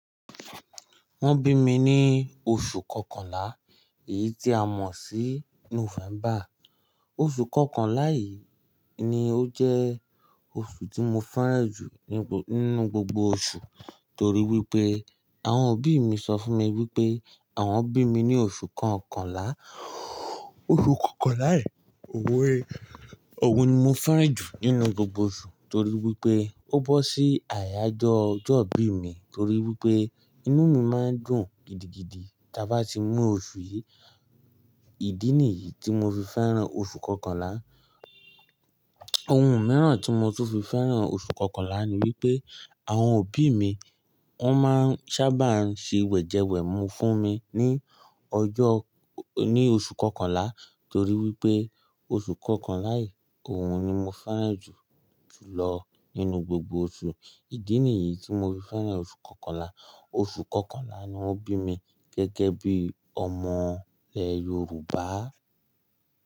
Wọ́n bí mi ní oṣù kọkànlá, èyí tí a mọ̀ sí November. Oṣù kọkànlá yìí ni ó jẹ́ oṣù tí mo fẹ́ràn jù nínú gbogbo oṣù torí wípé àwọn òbí mi sọ fún mi wípé àwọn bí mi ní oṣù kọkànlá. Oṣù kọkànlá yìí, òun ni mo fẹ́ràn jù nínú gbogbo oṣù torí wípé ó bọ́ sí àyájọ́ ọjọ́ ìbí mi torí wípé inú mi máa ń dùn gidigidi tí a bá ti mú oṣù yìí. Ìdí nìyí tí mo fi fẹ́ràn oṣù kọkànlá. Ohun mìíràn tí mo tún fi fẹ́ràn oṣù kọkànlá ni wípé àwọn òbí mi wọ́n máa ń sábà ń ṣe wẹ̀jẹwẹ̀mu fún mi ní ọjọ́, ní oṣù kọkànlá torí wípé oṣù kọkànlá yìí, òun ni mo fẹ́ràn jù jùlọ nínú gbogbo oṣù. Ìdí nìyí tí mo fi fẹ́ràn oṣù kọkànlá. Oṣù kọkànlá ni wọ́n bí mi gẹ́gẹ́ bí ọmọ ilẹ́ Yorùbá.